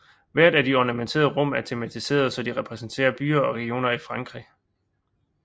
Hvert af de ornamenterede rum er tematiserede så de repræsenterer byer og regioner i frankrig